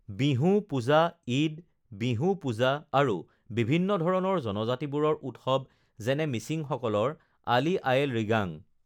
বিহু পূজা ঈদ বিহু পূজা আৰু বিভিন্ন ধৰণৰ জনজাতিবোৰৰ উৎসৱ যেনে মিচিংসকলৰ আলি-আয়ে-লৃগাং